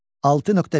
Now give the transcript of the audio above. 6.1.